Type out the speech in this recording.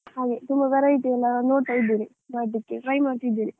ಹಾಗೆ ತುಂಬಾ variety ಎಲ್ಲ ನೋಡ್ತಾ ಇದ್ದೇನೆ ಮಾಡಲಿಕ್ಕೆ, try ಮಾಡ್ತಿದ್ದೇನೆ.